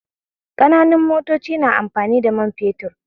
Ƙananan motoci na amfani da man fetur ne